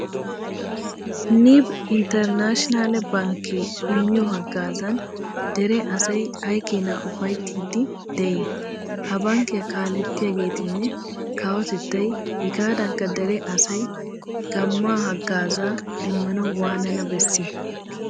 Nib intternaashinaale bankkee immiyo haggaazan dere asay ay keena ufayttiiddi de'ii? Ha bankkiya kaalettiyageetinne kawotettay hegaadankka dere asay gamma haggaazaa demmanawu waanana bessii?